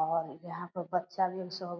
और यहाँ पे बच्चा भी --